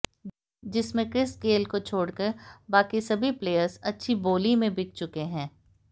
जिसमें Chris Gayle को छोड़कर बाकी सभी प्लेयर्स अच्छी बोली में बिक चुके हैं